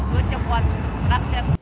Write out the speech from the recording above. өте қуаныштымын рахмет